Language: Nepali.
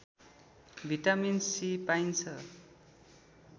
भिटामिन सी पाइन्छ